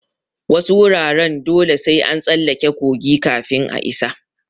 Wasu wuraren dole sai an tsallake kogi kafin a isa.